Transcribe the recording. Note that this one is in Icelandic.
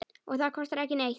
Og það kostar ekki neitt.